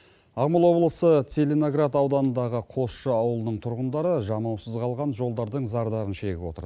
ақмола облысы целиноград ауданындағы қосшы ауылының тұрғындары жанаусыз қалған жолдардың зардабын шегіп отыр